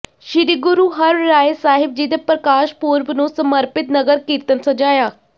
ਸ੍ਰੀ ਗੁਰੂ ਹਰਿਰਾਇ ਸਾਹਿਬ ਜੀ ਦੇ ਪ੍ਰਕਾਸ਼ ਪੁਰਬ ਨੂੰ ਸਮਰਪਿਤ ਨਗਰ ਕੀਰਤਨ ਸਜਾਇਆ